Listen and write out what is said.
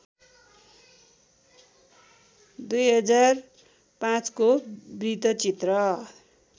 २००५ को वृत्तचित्र